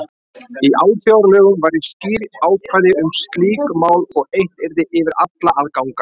Í alþjóðalögum væru skýr ákvæði um slík mál og eitt yrði yfir alla að ganga.